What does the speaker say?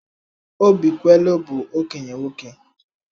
Obikwelu bụ okenye nwoke.